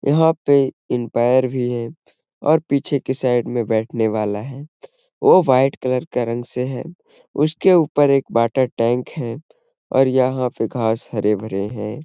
यंहा पे इम्पाइर भी है और पीछे के साइड में बैठने वाला है। वो वाइट कलर का रंग से है। उसके ऊपर एक वाटर टैंक है और यंहा पे घास हरे-भरे हैं।